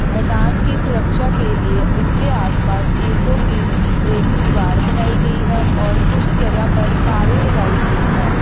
मैदान की सुरक्षा के लिए उसके आसपास ईंटों की एक दीवार बनाई गई है और कुछ जगह पर तारे लगाई गई है।